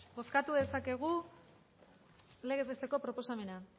bozkatu dezakegu legez besteko proposamena